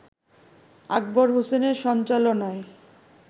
আকবর হোসেনের সঞ্চালনায়